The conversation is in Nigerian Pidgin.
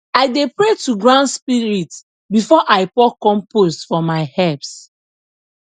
i dey pray to ground spirit before i pour compost for my herbs